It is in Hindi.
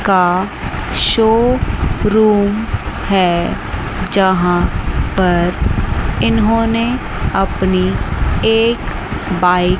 का शो रूम है जहां पर इन्होंने अपनी एक बाइ--